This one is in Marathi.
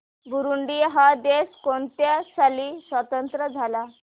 बुरुंडी हा देश कोणत्या साली स्वातंत्र्य झाला